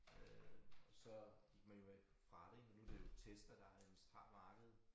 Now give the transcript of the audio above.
Øh og så gik man jo væk fra det og nu det jo Tesla der nærmest har markedet